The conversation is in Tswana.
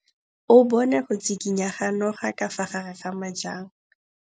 O bone go tshikinya ga noga ka fa gare ga majang.